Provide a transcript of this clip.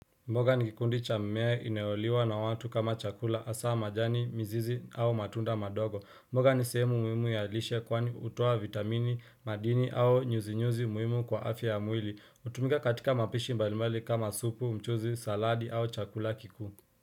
Mboga ni kikundi cha mmea inayoliwa na watu kama chakula hasa majani mizizi au matunda madogo mboga ni sehemu muhimu ya lishe kwani hutoa vitamini madini au nyuzi nyuzi muhimu kwa afya ya mwili hutumika katika mapishi mbali mbali kama supu mchuzi saladi au chakula kikuu.